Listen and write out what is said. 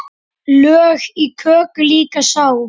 Lög í köku líka sá.